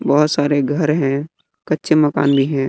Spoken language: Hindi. बहोत सारे घर हैं। कच्चे मकान भी हैं।